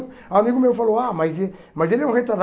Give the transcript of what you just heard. O amigo meu falou, ah, mas e mas ele é um retardado.